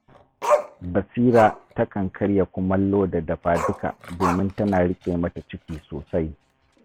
Basira takan karya kumallo da dafa-duka domin tana riƙe mata ciki sosai